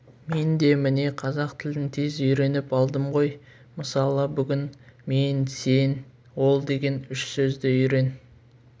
мен де міне қазақ тілін тез үйреніп алдым ғой мысалы бүгін мен сен ол деген үш сөзді үйрен